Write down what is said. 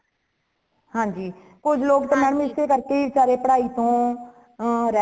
ਹਾਂਜੀ ,ਕੁਜ ਲੋਗ ਤੇ mam ਇਸੇ ਕਰਕੇ ਸਾਰੇ ਪੜਾਈ ਤੋਂ ਰਹਿ